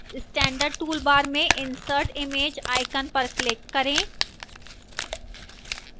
standard toolbar में insert image icon पर click करें